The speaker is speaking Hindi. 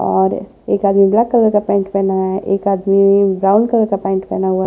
और एक आदमी ब्लैक कलर का पेंट पहना है एक आदमी ब्राउन कलर का पेंट पहना हुआ।